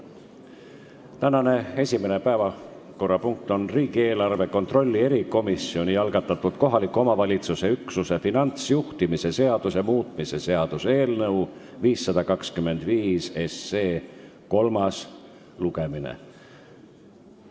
Tänane esimene päevakorrapunkt on riigieelarve kontrolli erikomisjoni algatatud kohaliku omavalitsuse üksuse finantsjuhtimise seaduse muutmise seaduse eelnõu 525 kolmas lugemine.